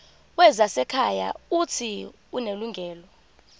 wezasekhaya uuthi unelungelo